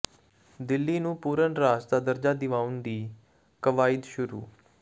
ਦਿੱਲੀ ਨੂੰ ਪੂਰਨ ਰਾਜ ਦਾ ਦਰਜਾ ਦਿਵਾਉਣ ਦੀ ਕਵਾਇਦ ਸ਼ੁਰੂ